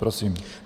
Prosím.